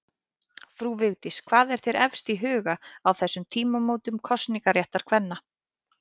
Frú Vigdís, hvað er þér efst í huga á þessum tímamótum kosningaréttar kvenna?